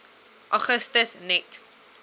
augustus net